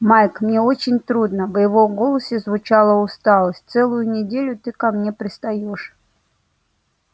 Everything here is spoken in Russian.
майк мне очень трудно в его голосе звучала усталость целую неделю ты ко мне пристаёшь